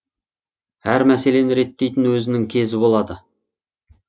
әр мәселені реттейтін өзінің кезі болады